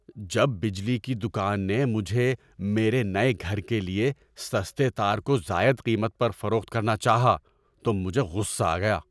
‏جب بجلی کی دکان نے مجھے میرے نئے گھر کے لیے سستے تار کو زائد قیمت پر فروخت کرنا چاہا تو مجھے غصہ آ گیا۔